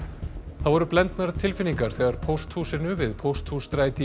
það voru blendnar tilfinningar þegar pósthúsinu við Pósthússtræti